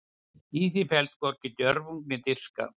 Í því felst hvorki djörfung né dirfska.